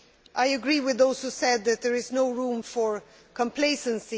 I agree with those who said that there is no room for complacency.